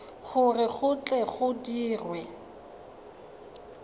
gore go tle go dirwe